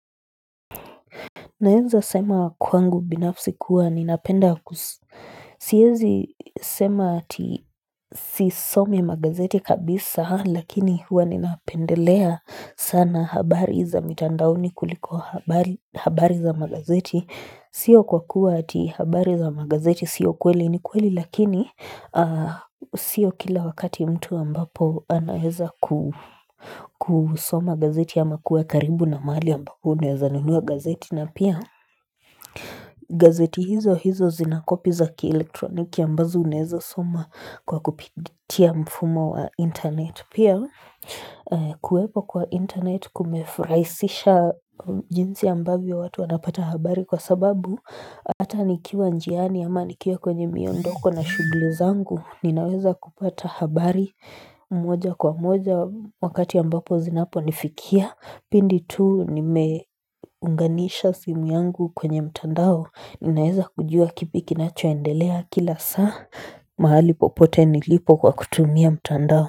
Naeza sema kwangu binafsi kuwa ninapenda ku siwezi sema ati sisomi magazeti kabisa lakini hua ninapendelea sana habari za mitandaoni kuliko habari za magazeti. Sio kwa kuwa ati habari za magazeti, sio kweli ni kweli lakini Sio kila wakati mtu ambapo anaheza kusoma gazeti ama kuwa karibu na mahali ambapo unaeza nunua gazeti na pia gazeti hizo hizo zinakopi za kielektroniki ambazo unaeza soma kwa kupitia mfumo wa internet Pia kuwepo kwa internet kumefraisisha jinsi ambavyo watu wanapata habari kwa sababu Hata nikiwa njiani ama nikiwa kwenye miondoko na shugli zangu Ninaweza kupata habari moja kwa moja wakati ambapo zinapo nifikia Pindi tu nimeunganisha simu yangu kwenye mtandao Ninaweza kujua kipi kinachoendelea kila saa mahali popote nilipo kwa kutumia mtandao.